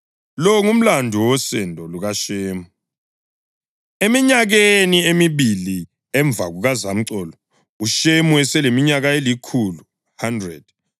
Lo ngumlando wosendo lukaShemu. Eminyakeni emibili emva kukazamcolo, uShemu eseleminyaka elikhulu (100) wazala u-Afazadi.